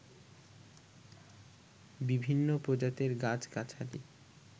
বিভিন্ন প্রজাতির গাছ-গাছালি